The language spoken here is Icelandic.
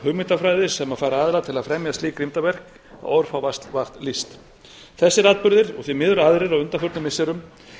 hugmyndafræði sem fær aðila til að fremja slík grimmdarverk og orð fá vart lýst þessir atburðir og því miður aðrir á undanförnum missirum